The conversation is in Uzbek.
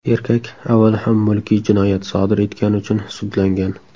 Erkak avval ham mulkiy jinoyat sodir etgani uchun sudlangan.